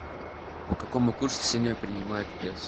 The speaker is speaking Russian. по какому курсу сегодня принимают песо